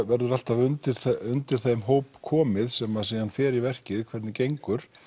verður alltaf undir undir þeim hópi komið sem síðan fer í verkið hvernig gengur